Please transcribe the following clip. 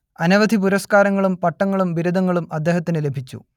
അനവധി പുരസ്കാരങ്ങളും പട്ടങ്ങളും ബിരുദങ്ങളും അദ്ദേഹത്തിനു ലഭിച്ചു